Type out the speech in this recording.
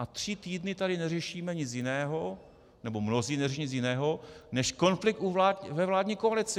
A tři týdny tady neřešíme nic jiného, nebo mnozí neřeší nic jiného než konflikt ve vládní koalici.